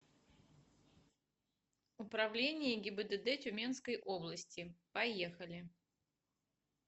управление гибдд тюменской области поехали